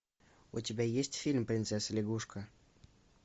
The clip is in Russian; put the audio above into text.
у тебя есть фильм принцесса лягушка